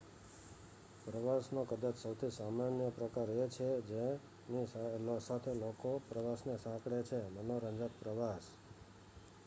પ્રવાસનો કદાચ સૌથી સામાન્ય પ્રકાર એ છે જેની સાથે લોકો પ્રવાસને સાંકળે છે મનોરંજક પ્રવાસ